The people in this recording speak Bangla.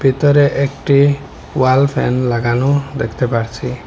ভিতরে একটি ওয়াল ফ্যান লাগানো দেখতে পারছি।